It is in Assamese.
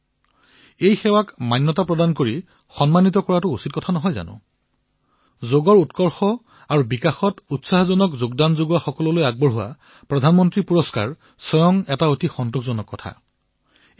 এনেকুৱা সেৱাক মান্যতা প্ৰদান কৰি তাক সন্মানিত কৰিব নালাগেনে ২০১৯ বৰ্ষত যোগৰ প্ৰচাৰৰ বাবে আৰু বিকাশৰ বাবে উৎকৃষ্ট যোগদান কৰাৰ বাবে প্ৰধানমন্ত্ৰীৰ বঁটাৰ ঘোষণা এক সন্তোষৰ কথা হিচাপে বিবেচিত হৈছে